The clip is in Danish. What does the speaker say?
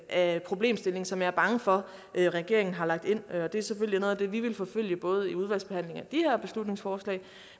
af problemstillingen som jeg er bange for regeringen har lagt ind det er selvfølgelig noget af det som vi vil forfølge både i udvalgsbehandlingen af de her beslutningsforslag